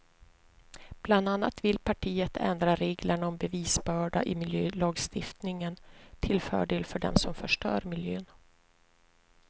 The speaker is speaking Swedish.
Bland annat vill partiet ändra reglerna om bevisbörda i miljölagstiftningen till fördel för dem som förstör miljön.